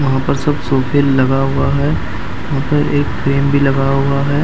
वहां पर सब सोफे लगा हुआ है वहां पे एक फ्रेम भी लगा हुआ है।